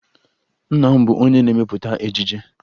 Nna m bụ onye na-emepụta ejije